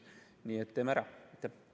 Nii et teeme ära!